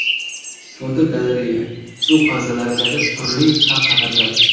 Fotogalereya: Suv havzalaridagi turli xavf-xatarlar.